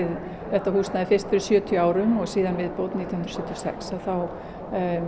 þetta húsnæði fyrst fyrir sjötíu árum og síðan viðbót nítján hundruð sjötíu og sex þá